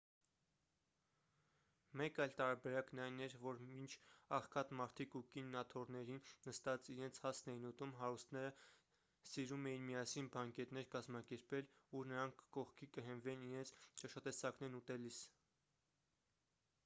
մեկ այլ տարբերակն այն էր որ մինչ աղքատ մարդիկ ու կինն աթոռներին նստած իրենց հացն էին ուտում հարուստները սիրում էին միասին բանկետներ կազմակերպել ուր նրանք կողքի կհենվեին իրենց ճաշատեսակներն ուտելիս